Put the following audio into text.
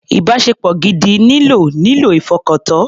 Ìbáṣepọ̀ gidi nílò nílò ìfọkàntọ́.